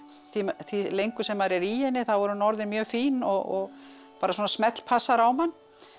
því lengur sem maður er í henni þá er hún orðin mjög fín og bara smellpassar á mann